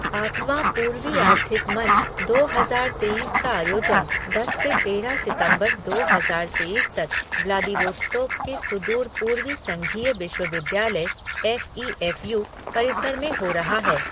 आठवां पूर्वी आर्थिक मंच दो हज़ार तेईस का आयोजन दस से तेरह सितंबर दो हज़ार तेईस तक व्लादिवोस्तोक के सुदूर पूर्वी संघीय विश्वविद्यालय एफ़ ई एफ़ यू परिसर में हो रहा है।